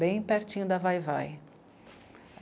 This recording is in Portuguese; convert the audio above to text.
Bem pertinho da Vai-vai.